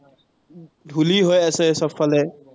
ধুলি হৈ আছে চবফালে।